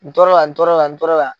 N tor'o la n tor'o la n tor'o la.